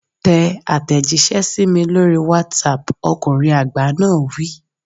Tẹ àtẹ̀jíṣẹ́ sí mi lórí WhatsApp, ọkùnrin àgbà náà wí.